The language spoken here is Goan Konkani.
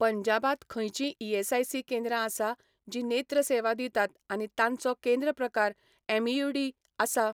पंजाबांत खंयचींय ईएसआयसी केंद्रां आसा जीं नेत्र सेवा दितात आनी तांचो केंद्र प्रकार एमइयूडी आसा?